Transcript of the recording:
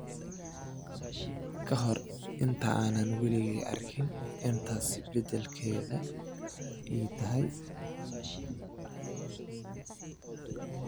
Ka hor intaanan weligay arkin in taasi beddelka ii tahay."